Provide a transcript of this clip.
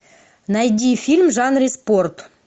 найди фильм в жанре спорт